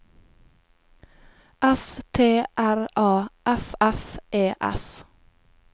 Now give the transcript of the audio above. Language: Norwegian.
S T R A F F E S